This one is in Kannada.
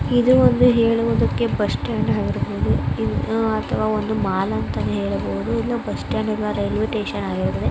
ಇದು ಒಂದು ಹೇಳುವುದಕ್ಕೆ ಬಸ್ ಸ್ಟ್ಯಾಂಡ್ ಇರಬಹುದು ಇಲ್ಲ ಅತಹವ ಒಂದು ಮಾಲ್ ಅಂತಾನೆ ಹೇಳಬಹುದು. ಇದು ಬಸ್ ಸ್ಟ್ಯಾಂಡಿನ ಇಲ್ಲಾ ರೈಲ್ವೆ ಸ್ಟೇಷನ್ ಆಗಿದೆ.